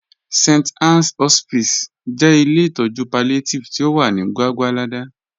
St. Ann's Hospice jẹ ilẹ̀ itọju palliative ti o wà ni Gwàgwàlada